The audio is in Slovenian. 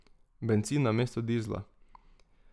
Bencin namesto dizla.